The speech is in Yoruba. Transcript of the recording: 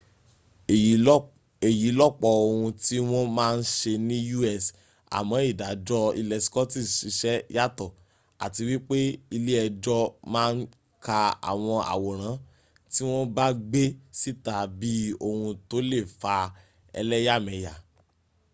èyí lọ̀pọ̀ ohun tí wọ́n má ń se ní us àmọ́ ìdàjọ́ ilẹ̀ scottish siṣẹ́ yàtọ̀ àti wípé ilé ẹjọ́ má ń ka àwọn àwòrán tí wọ́n bá gbé síta bí ohun tó lè fa ẹlẹ́yàmẹ̀yà